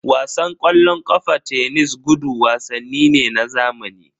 Wasan ƙwallon ƙafa, tenis, gudu wasanni ne na zamani.